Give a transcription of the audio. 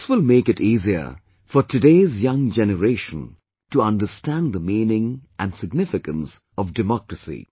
This will make it easier for today's young generation to understand the meaning and significance of democracy